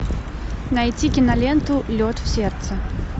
найти киноленту лед в сердце